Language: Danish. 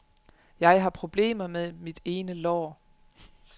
Jeg har problemer med mit ene lår.